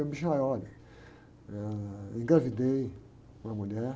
Eu, olha, eh, engravidei uma mulher.